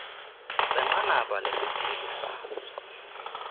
senqanaba lesithili sazo